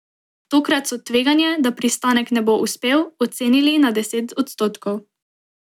Tokrat so tveganje, da pristanek ne bo uspel, ocenili na deset odstotkov.